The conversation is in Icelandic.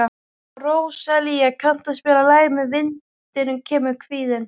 Róselía, kanntu að spila lagið „Með vindinum kemur kvíðinn“?